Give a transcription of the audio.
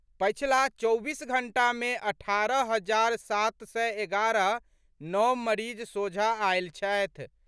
पछिला चौबीस घंटा मे अठारह हजार सात सय एगारह नव मरीज सोझा आयल छथि।